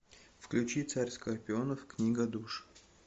включи царь скорпионов книга душ